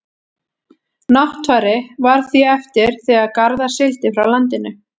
náttfari varð því eftir þegar garðar sigldi frá landinu